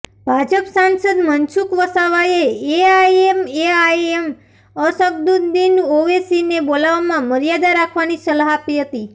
ભાજપ સાંસદ મનસુખ વસાવાએ એઆઇએમઆઇએમ અસગ્દુદિન ઔવેશીને બોલવામાં મર્યાદા રાખવાની સલાહ આપી હતી